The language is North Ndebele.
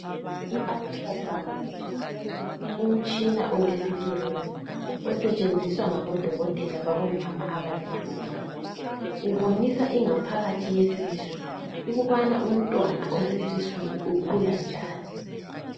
IUtra Sound umtshina olescreen osetshenziswa ngabodokotela babomama abazithweleyo. Ubonisa ingaphakathi yesisu ukubana umntwana osesiswini ukhula njani.